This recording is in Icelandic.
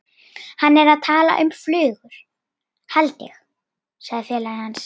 Hann er að tala um flugur, held ég sagði félagi hans.